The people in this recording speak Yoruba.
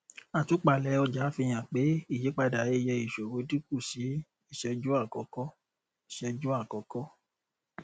àtúpalẹ ọjà fi hàn pé ìyípadà iye ìṣòwò dínkù sí iṣẹjú àkọkọ iṣẹjú àkọkọ